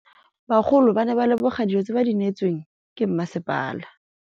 Bagolo ba ne ba leboga dijô tse ba do neêtswe ke masepala.